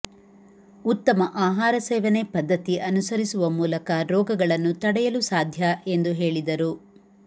ಉತ್ತಮ ಆಹಾರ ಸೇವನೆ ಪದ್ಧತಿ ಅನುಸರಿಸುವ ಮೂಲಕ ರೋಗಗಳನ್ನು ತಡೆಯಲು ಸಾಧ್ಯ ಎಂದು ಹೇಳಿದರು